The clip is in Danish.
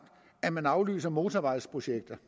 at man aflyser motorvejsprojekter